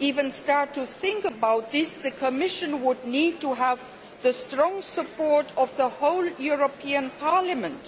even starting to think about this, the Commission would need to have the strong support of the whole European Parliament.